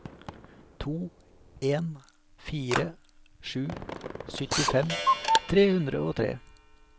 to en fire sju syttifem tre hundre og tre